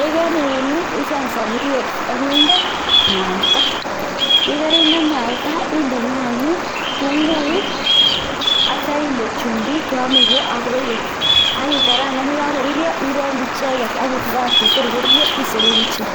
yekeriun icheng soburiet ak inde mwaita, yekerinde mwaita inde nyayik tung'uik ak kityo inde chumbik cheomekee ak roiko ak kikarangan yekokorurio irongyi icheket ak ibakakte tor korurio isoroku ichek.